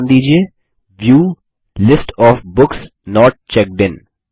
view को नाम दीजिये View list of books not checked in